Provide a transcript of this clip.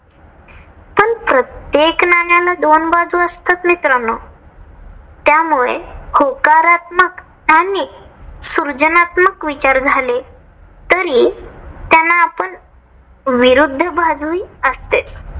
एक नाण्याला दोन बाजू असतात मित्रांनो. त्यामुळे होकारात्मक आणि सर्जनात्मक विचार झाले तरी त्यांना पण विरुध्द बाजूही असतेच.